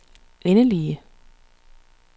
endelige